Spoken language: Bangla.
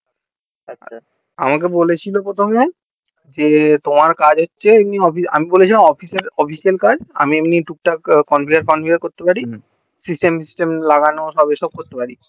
আমাকে বলেছিলো প্রথমে তোমার কাজ হচ্ছে এমনি অফিসের আমি বলেছিলাম অফিসের কাজ আমি এমনি টুকটাক conveyor conviar করতে পারি system system লাগানো এই সব করতে পারি